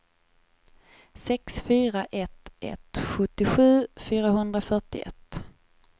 sex fyra ett ett sjuttiosju fyrahundrafyrtioett